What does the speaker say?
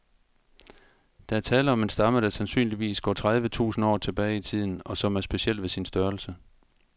Der er tale om en stamme, der sandsynligvis går tredive tusind år tilbage i tiden, og som er speciel ved sin størrelse.